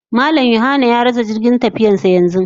Mallam(John/Yahanna) ya rasa jirgin tafiyarsa yanzu